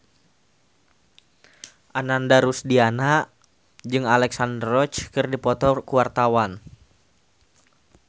Ananda Rusdiana jeung Alexandra Roach keur dipoto ku wartawan